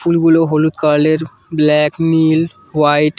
ফুলগুলো হলুদ কালল -এর ব্ল্যাক নীল হোয়াইট ।